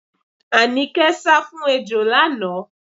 Àníkẹ́ sá fún ejò lánàá.